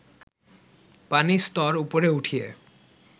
পানির স্তর উপরে উঠিয়ে